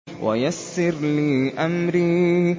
وَيَسِّرْ لِي أَمْرِي